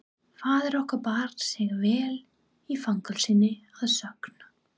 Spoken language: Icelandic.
Faðir okkar bar sig vel í fangelsinu að sögn.